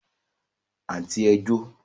Àǹtí ẹ jó